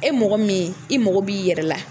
E mɔgɔ min i mɔgɔ b'i yɛrɛ la.